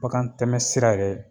Bakan tɛmɛ sira yɛrɛ